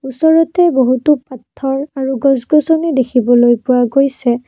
ওচৰতে বহুতো পাথৰ আৰু গছ-গছনি দেখিবলৈ পোৱা গৈছে।